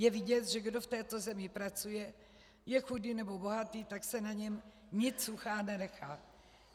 Je vidět, že kdo v této zemi pracuje, je chudý nebo bohatý, tak se na něm nit suchá nenechá.